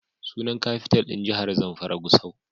Sunan Kafital ɗin jahar Zamfara Gusau.